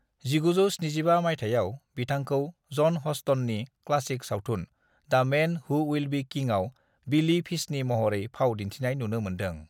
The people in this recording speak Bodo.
1975 माइथायाव बिथांखौ जन हस्टननि क्लासिक सावथुन 'the' man who will be किंग'आव बिली फिशनि महरै फाव दिनथिनाय नुनो मोनदों ।